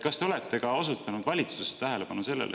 Kas te olete juhtinud valitsuses tähelepanu sellele …